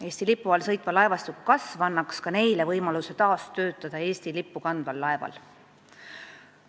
Eesti lipu all sõitva laevastiku kasv annaks neile võimaluse taas töötada ka Eesti lippu kandval laeval.